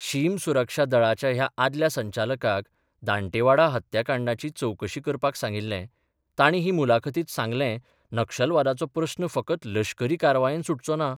शीम सुरक्षा दळाच्या ह्या आदल्या संचालकाक दांटेवाडा हत्याकांडाची चवकशी करपाक सांगिल्ले तांणी हे मुलाखतींत सांगलें नक्षलवादाचो प्रस्न फकत लश्करी कारवायेन सुटचो ना.